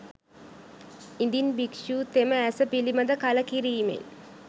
ඉදින් භික්‍ෂුතෙම ඇස පිළිබඳ කලකිරීමෙන්